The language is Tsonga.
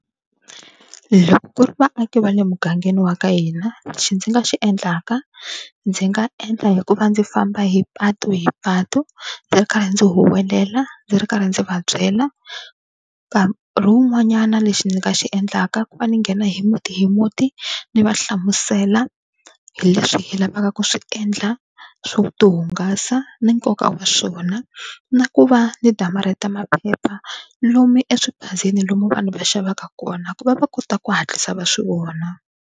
Loko ku ri vaaki va le mugangeni wa ka hina, lexi ndzi nga xi endlaka ndzi nga endla hi ku va ndzi famba hi patu hi patu ndzi ri karhi ndzi huwelela ndzi ri karhi ndzi va byela. Nkarhiwun'wanyana lexi ni nga xi endlaka i ku va ni nghena hi muti hi muti ni va hlamusela hi leswi hi lavaka ku swi endla swo tihungasa ni nkoka wa swona. Na ku va ni damarheta maphepha lomu eswiphazeni lomu vanhu va xavaka kona ku va va kota ku hatlisa va swi vona.